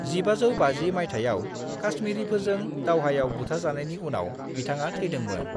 1550 माइथायाव काश्मीरिफोरजों दावहायाव बुथारजानायनि उनाव बिथाङा थैदोंमोन।